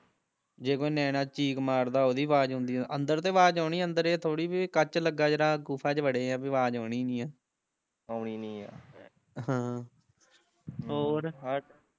ਜੇ ਕੋਈ ਨਿਆਣਾ ਚੀਕ ਮਾਰਦਾ ਓਹਦੀ ਆਵਾਜ਼ ਆਉਂਦੀ, ਅੰਦਰ ਤੇ ਆਵਾਜ਼ ਆਉਣੀ, ਅੰਦਰ ਏਹ ਥੋੜੀ ਵੀ ਕੱਚ ਲੱਗਾ ਜਿਹੜਾ ਗੁਫਾ ਚ ਵੜੇ ਆ ਵੇ ਆਵਾਜ਼ ਆਉਣੀ ਨੀ ਆ ਆਉਣੀ ਨੀ ਐ ਹਮ ਹੋਰ